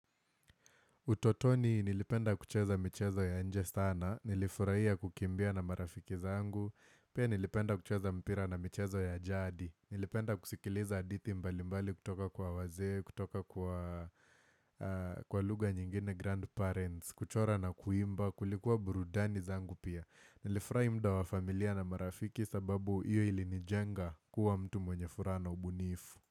Utotoni nilipenda kucheza mchezo ya nje sana, nilifurahia kukimbia na marafiki zangu, pia nilipenda kucheza mpira na mchezo ya jadi, nilipenda kusikiliza haditi mbalimbali kutoka kwa wazee, kutoka kwa kwa lugha nyingine grandparents, kuchora na kuimba, kulikuwa burudani zangu pia. Nilifurahia mda wa familia na marafiki sababu iyo ili nijenga kuwa mtu mwenye furaha na ubunifu.